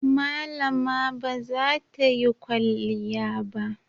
Malama ba za ta yi kwalliya ba.